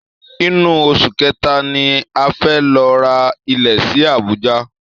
Inú oṣù kẹta ni a fẹ́ lọ ra ilẹ̀ sí Abuja